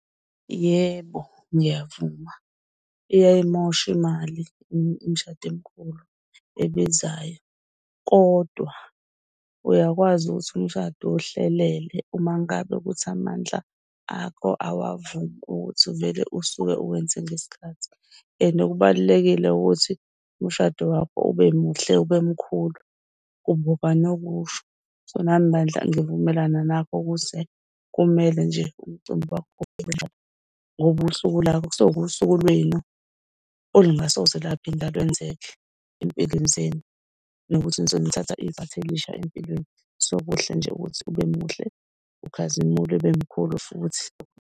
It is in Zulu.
Yebo, ngiyavuma iyayimosha imali umshado emikhulu ebizayo kodwa uyakwazi ukuthi umshado uwuhlelele uma ngabe kuthi amandla akho awavumi ukuthi uvele usuke uwenze ngesikhathi. And kubalulekile ukuthi umshado wakho ube muhle, ube mkhulu kube okanokusho. So nami bandla ngivumelana nakho, ukuze kumele nje umcimbi wakho ngoba usuku lwakho kusuke kuwusuku lwenu olungasoze lwaphinde lwenzeke ey'mpilweni zenu. Nokuthi nisuke nithatha igxathu elisha empilweni. So, kuhle nje ukuthi ube muhle ukhazimule, ube mkhulu futhi.